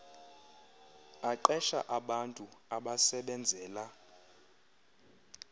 aqesha abantu abasebenzela